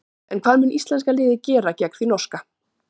En hvað mun íslenska liðið gera gegn því norska?